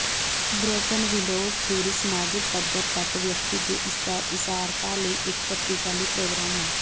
broken windows theory ਸਮਾਜਿਕ ਪੱਧਰ ਤੱਕ ਵਿਅਕਤੀ ਦੇ ਇਿਸਾਰਤਾ ਲਈ ਇੱਕ ਸ਼ਕਤੀਸ਼ਾਲੀ ਪ੍ਰੋਗਰਾਮ ਹੈ